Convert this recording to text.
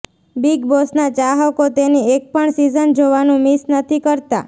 big બોસના ચાહકો તેની એક પણ સિઝન જોવાનું મિસ નથી કરતા